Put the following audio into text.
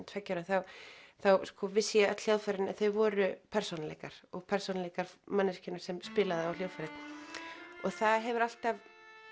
tveggja ára þá vissi ég að öll hljóðfærin voru persónuleikar og persónuleikar manneskjunnar sem spilaði á hljóðfærið og það hefur alltaf